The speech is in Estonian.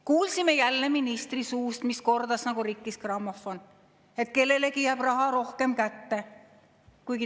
Kuulsime jälle ministri suust, mis kordas nagu rikkis grammofon, et kellelegi jääb raha rohkem kätte.